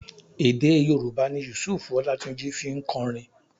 Èdé Yorùbá ni Yusuf Ọlátúnjí fi ń kọrin.